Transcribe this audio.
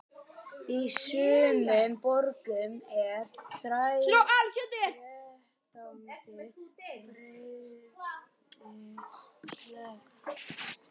Í sumum borgum er þrettándu breiðgötu sleppt.